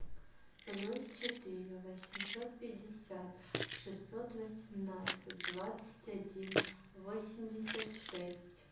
плюс четыре восемьсот пятьдесят шестьсот восемнадцать двадцать один восемьдесят шесть